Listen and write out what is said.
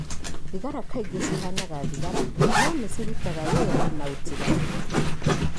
Thigara kaingĩ cihanaga thigara no nĩ cirutaga wĩra na ũtiganu.